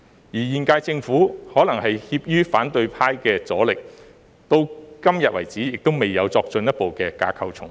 現屆政府可能怯於反對派的阻力，至今未有作進一步的架構重組。